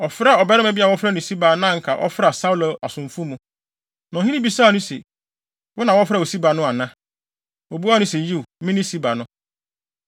Ɔfrɛɛ ɔbarima bi a wɔfrɛ no Siba a na anka ɔfra Saulo asomfo mu. Na ɔhene bisaa no se, “Wo na wɔfrɛ wo Siba no ana?” Obuaa no se, “Yiw, me ne Siba no.”